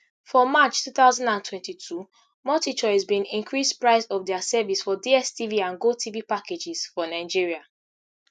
for march two thousand and twenty-two multichoice bin increase price of dia service for dstv and gotv packages for nigeria